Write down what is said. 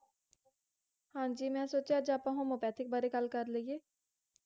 ਹਾਂਜੀ, ਮੈਂ ਸੋਚਿਆ ਅੱਜ ਆਪਾਂ homeopathic ਬਾਰੇ ਗੱਲ ਕਰ ਲਇਏ